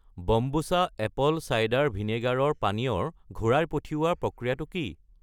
বম্বুচা apple cider ভিনেগাৰৰ পানীয় ৰ ঘূৰাই পঠিওৱাৰ প্ৰক্ৰিয়াটো কি?